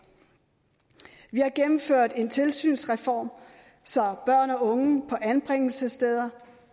vi har gennemført en tilsynsreform så børn og unge på anbringelsessteder